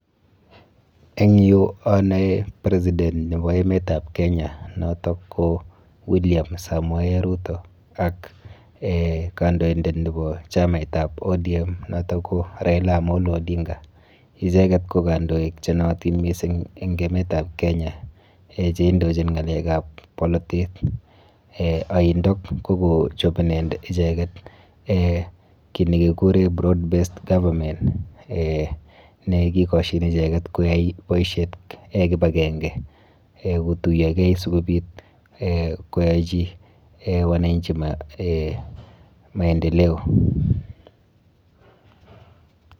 Eng yu anoe president nepo emetap Kenya noto ko William Samoei Ruto ak eh kandoindet nepo chamaitap ODM noto ko Raila Amolo Odinga. Icheket ko kandoik chenootin mising eng emetap Kenya eh cheindochin ng'alekap bolotet. Eh aindok ko kochop icheket eh kiy nekikure broad - based government eh nekikoshin icheket yoyai boisiet kipakenke. Eh kotuiyokei sikobit eh koyochi wananchi eh maendeleo.